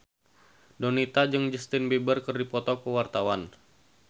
Donita jeung Justin Beiber keur dipoto ku wartawan